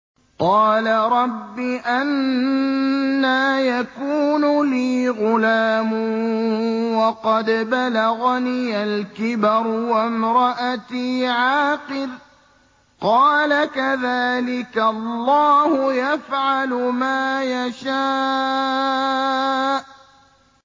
قَالَ رَبِّ أَنَّىٰ يَكُونُ لِي غُلَامٌ وَقَدْ بَلَغَنِيَ الْكِبَرُ وَامْرَأَتِي عَاقِرٌ ۖ قَالَ كَذَٰلِكَ اللَّهُ يَفْعَلُ مَا يَشَاءُ